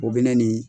O bɛ ne ni